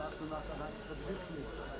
Ardından sizə qayıda bilərsiniz.